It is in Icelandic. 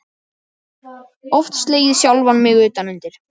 Oft slegið sjálfan mig utan undir.